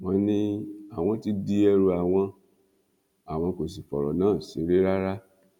wọn ní àwọn ti di ẹrù àwọn àwọn kò sì fọrọ náà ṣeré rárá